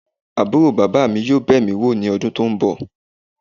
Aburo baba mi yoo be mi wo ni odun to nbo.